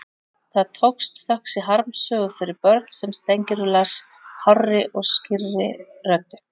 Það tókst, þökk sé harmsögu fyrir börn sem Steingerður las hárri og skýrri röddu.